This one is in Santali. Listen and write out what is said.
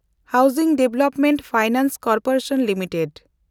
ᱚᱲᱟᱜ ᱩᱛᱱᱟᱹᱣ ᱯᱷᱟᱭᱱᱟᱱᱥ ᱠᱚᱨᱯᱳᱨᱮᱥᱚᱱ ᱞᱤᱢᱤᱴᱮᱰ